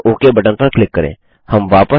अंततःOK button पर click करें